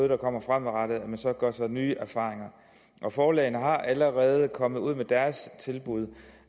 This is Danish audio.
der kommer kommer gør sig nye erfaringer forlagene er allerede kommet med deres tilbud